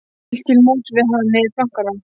Hún hélt til móts við hann niður plankana.